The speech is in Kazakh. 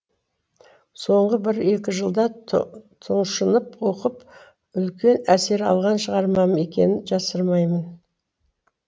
соңғы бір екі жылда тұншынып оқып үлкен әсер алған шығармам екенін жасырмаймын